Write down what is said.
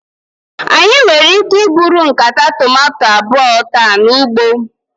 Anyị nwere ike iburu nkata tomato abụọ taa n'ugbo.